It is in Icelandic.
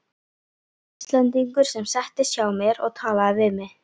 Íslendingur sem settist hjá mér og talaði við mig.